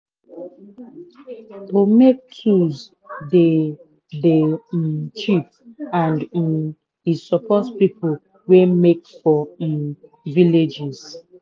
to make tools dey dey um cheap and um e support people wey make for um villages.